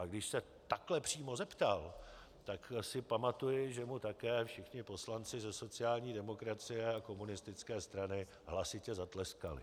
A když se takhle přímo zeptal, tak si pamatuji, že mu také všichni poslanci ze sociální demokracie a komunistické strany hlasitě zatleskali.